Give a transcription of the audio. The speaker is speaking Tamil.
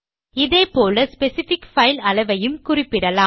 இதே போல ஸ்பெசிஃபிக் பைல் அளவையும் குறிப்பிடலாம்